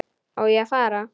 Á ég þá að fara.